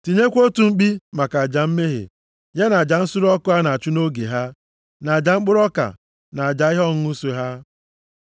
Tinyekwa otu mkpi maka aja mmehie, ya na aja nsure ọkụ a na-achụ nʼoge ha, na aja mkpụrụ ọka, na aja ihe ọṅụṅụ so ha.